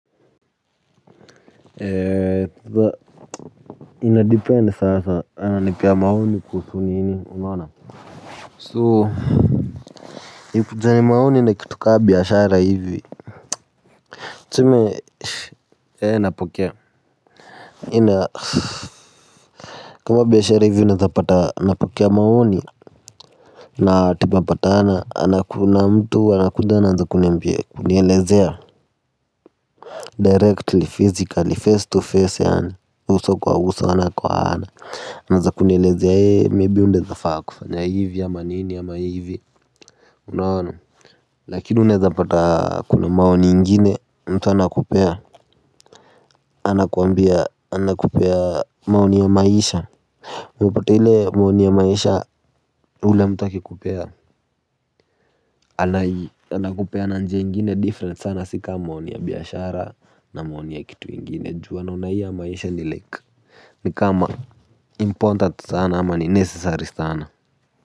Ee inadepend sasa ananipea maoni kuhusu nini unaona so ikikuja ni maoni na kitu ka biashara hivi tuseme ee napokea ina kama biashara hivi unaeza pata unapokea maoni na tupopata na kuna mtu anakuja anaanza kunielezea directly physically face to face yani uso kwa uso ana kwa ana. Anaanza kunielezea hee maybe unaeza faa kufanya hivi ama nini ama hivi. Unaona lakini unaeza pata kuna maoni ingine mtu anakupea. Anakuambia anakupea maoni ya maisha. Unapote ile maoni ya maisha ule mtu akikupea anai anakupea na nje ingine different sana si ka maoni ya biashara na maoni ya kitu ingine ju wanaona hii ya maisha ni like ni kama important sana ama ni necessary sana.